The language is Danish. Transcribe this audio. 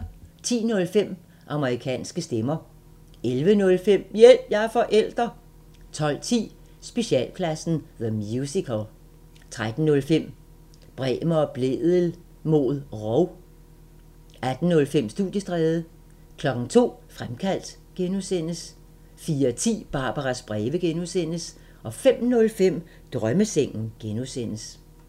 10:05: Amerikanske stemmer 11:05: Hjælp – jeg er forælder 12:10: Specialklassen The Musical 13:05: Bremer og Blædel mod rov 18:05: Studiestræde 02:00: Fremkaldt (G) 04:10: Barbaras breve (G) 05:05: Drømmesengen (G)